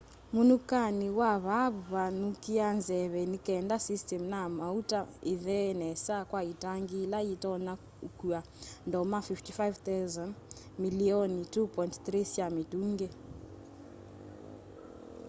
munukani wa vaavu wathukia nzeve nikenda system na mauta ithee nesa kwa itangi ila yitonya ukua ndoma 55,000 milioni 2.3 sya mitungi